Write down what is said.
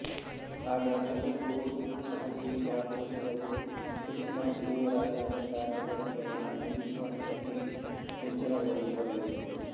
ಆಗ ಕಲ್ಲುಹೂವು ಸಹಜೀವಿಗಳ ಕೋಶಗಳು ಹೆಚ್ಚಿನ ಜೀವರಾಸಾಯನಿಕ ಚಟುವಟಿಕೆಯನ್ನು ನಿಲ್ಲಿಸುವ ಹಂತಕ್ಕೆ ನಿರ್ಜಲಗೊಳ್ಳುತ್ತವೆ